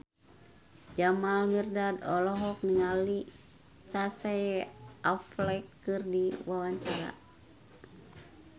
Jamal Mirdad olohok ningali Casey Affleck keur diwawancara